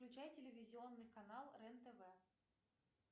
включай телевизионный канал рен тв